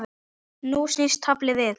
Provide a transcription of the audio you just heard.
Nú snýst taflið við.